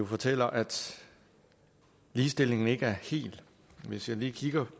fortæller at ligestillingen ikke er der helt hvis jeg lige kigger